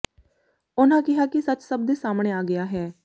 ਉਨ੍ਹਾਂ ਕਿਹਾ ਕਿ ਸੱਚ ਸਭ ਦੇ ਸਾਹਮਣੇ ਆ ਗਿਆ ਹੈ